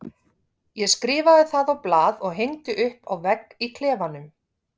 Ég skrifaði það á blað og hengdi upp á vegg í klefanum.